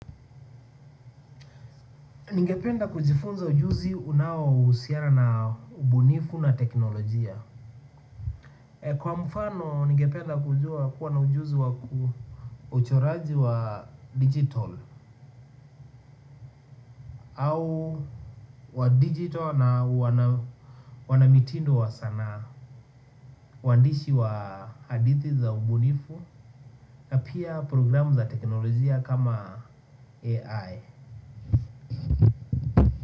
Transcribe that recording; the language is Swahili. Ningependa kujifunza ujuzi unaohusiana na ubunifu na teknolojia. Kwa mfano, ningependa kujua kuwa na ujuzi wa ku uchoraji wa digital. Au wa digital na wanamitindo wa sanaa. Uandishi wa hadithi za ubunifu pia programu za teknolojia kama AI.